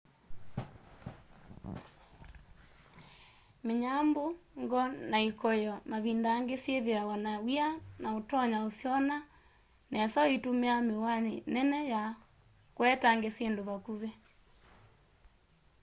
mĩnyambũ ngo na ikoyo mavinda angĩ syĩthĩawa na wia na ũtonya kũsyona nesa ũitũmĩa mĩwani nene ya kũetange syĩndũ vakuvĩ